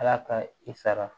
Ala ka i sara